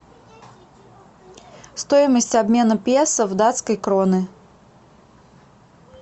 стоимость обмена песо в датские кроны